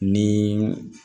Ni